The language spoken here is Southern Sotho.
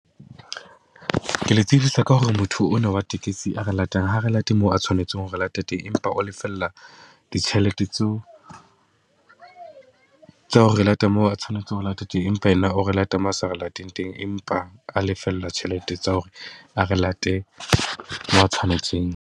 Ke le tsebisa ka hore motho ona wa tekesi a re latang, ha a re late moo a tshwanetseng hore re late teng. Empa o lefella ditjhelete tseo tsa hore re late moo a tshwanetseng ho re lata teng. Empa ena o re late moo a sa re lateng teng, empa a lefellwa tjhelete tsa hore a re late moo a tshwanetseng.